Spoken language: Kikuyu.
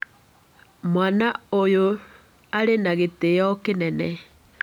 Mwaana ũyũ arĩ na gĩtĩo kĩnene.